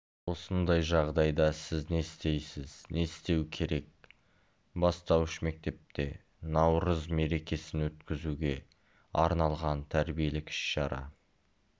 осындай жағдайда сіз не істейсіз не істеу керек бастауыш мектепте наурыз мерекесін өткізуге арналған тәрбиелік іс-шара